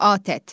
ATƏT.